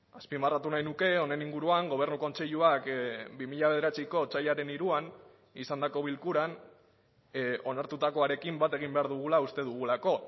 azpimarratu nahi nuke honen inguruan gobernu kontseiluak bi mila bederatziko otsailaren hiruan izandako bilkuran onartutakoarekin bat egin behar dugula uste dugulako